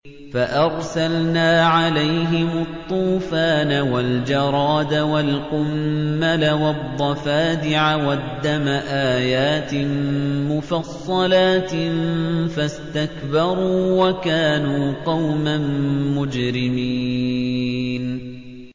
فَأَرْسَلْنَا عَلَيْهِمُ الطُّوفَانَ وَالْجَرَادَ وَالْقُمَّلَ وَالضَّفَادِعَ وَالدَّمَ آيَاتٍ مُّفَصَّلَاتٍ فَاسْتَكْبَرُوا وَكَانُوا قَوْمًا مُّجْرِمِينَ